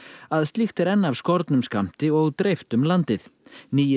að slíkt er enn af skornum skammti og dreift um landið nýi